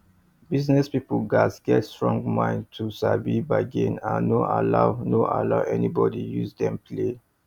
business people gats get strong mind to sabi bargain and no allow no allow anybody use dem play